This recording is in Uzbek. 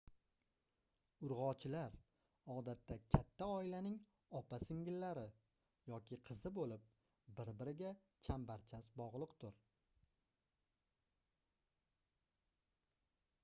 urgʻochilar odatda katta oilaning opa-singillari yoki qizi boʻlib bir-biriga chambarchas bogʻliqdir